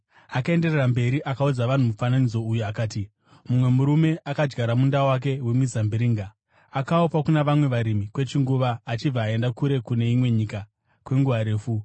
Akaenderera mberi akaudza vanhu mufananidzo uyu akati, Mumwe murume akadyara munda wake wemizambiringa, akaupa kuna vamwe varimi kwechinguva achibva aenda kure kune imwe nyika kwenguva refu.